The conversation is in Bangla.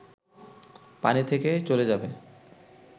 পানি থেকে চলে যাবে